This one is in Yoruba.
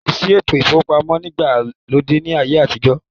Kòsí ètò ìfowópamọ́ ìgbàlódé ni ayé àtijọ́.